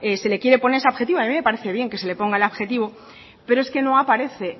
se le quiere poner ese adjetivo a mí me parece bien que se le ponga el adjetivo pero es que no aparece